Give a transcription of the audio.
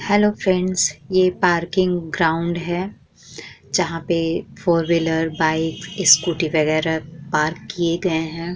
Hello friends ये parking ground है जहाँ पे फोर व्हीलर बाइक स्कूटी वगैरह पार्क किए गए हैं।